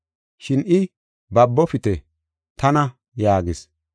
Shin I, “Babofite, tana” yaagis.